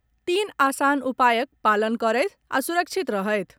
तीन आसान उपायक पालन करथि आ सुरक्षित रहथि।